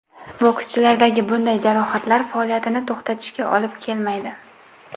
Bokschilardagi bunday jarohatlar faoliyatini to‘xtatishiga olib kelmaydi.